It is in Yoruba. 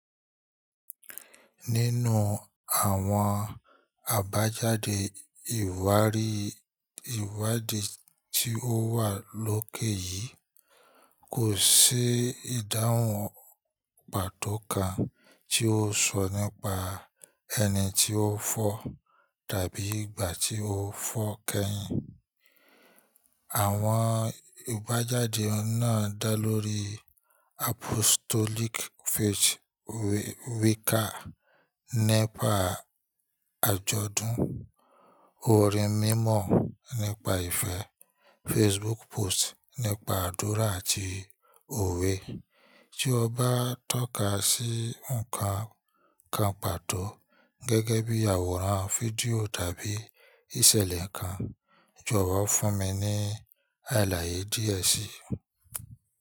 Nínú àwọn àbájáde ìwárí ìwádìí tí ó wà lókè yìí, kò sí ìdáhùn pàtó kan tí ó sọ nípa ẹni tí ó fọ̀ tàbí ìgbà tí ó fọ̀ kẹ́yìn. Awon ibajade ohun na dalori apostolic faith, wika, nepa àjọ̀dún, orin mímọ̀ nípa ìfẹ́, Facebook posts nípa àdúrà àti òwe. Tí o bá tọ́ka sí ǹkan kan pàtó, gẹ́gẹ́ bí àwòrán fídíò tàbí ìṣẹ̀lẹ̀ kan, jọ̀wọ́ fún mi ní àlàyé díẹ̀ síi.